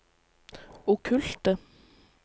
okkulte